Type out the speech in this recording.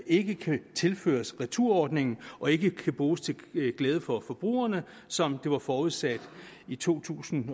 ikke kan tilføres returordningen og ikke kan bruges til glæde for forbrugerne som det var forudsat i to tusind